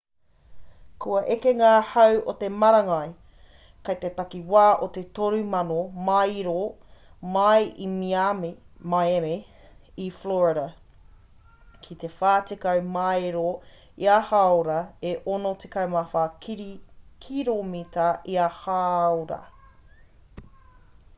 kua eke ngā hau o te marangai kei te takiwā o te 3,000 māero mai i miami i florida ki te 40 māero ia hāora e 64 kiromita ia hāora